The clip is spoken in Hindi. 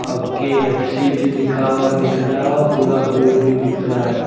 और के_एफ_सी भी लिखा हुआ दिख रहा है पूरा बोर्ड भी दिख रहा है।